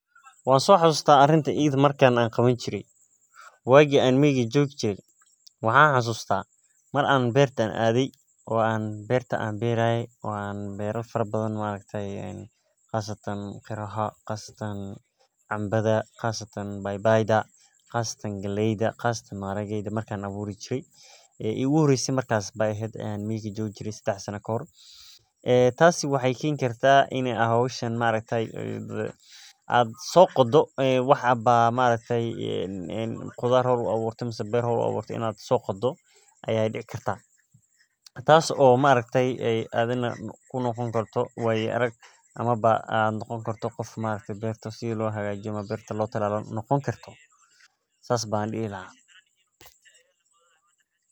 Wan soxasusta arintan iyada eh marki an qawan jire wagi an miga joge mar ayan beerta ade tasi waxee keni karta in aa soqodo tas oo noqoni karto wayo arag sas waye sitha hoshan muhiim ah oo lagu nadhiifiyo lagana ilaliyo germiska wana hol aad muhiim u ah sas waye sitha an hishan ujecelahay.